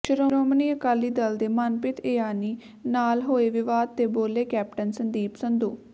ਸ਼੍ਰੋਮਣੀ ਅਕਾਲੀ ਦਲ ਦੇ ਮਨਪ੍ਰੀਤ ਇਆਲੀ ਨਾਲ ਹੋਏ ਵਿਵਾਦ ਤੇ ਬੋਲੇ ਕੈਪਟਨ ਸੰਦੀਪ ਸੰਧੂ